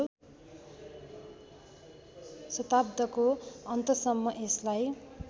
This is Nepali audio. शताब्दको अन्तसम्म यसलाई